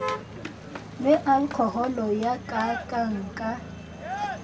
le alkoholo ye kaakang ka